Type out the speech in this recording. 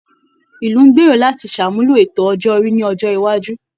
Ìlú ń gbèrò láti ṣàmúlò ètò ọjọ́ orí ní ọjọ́ iwájú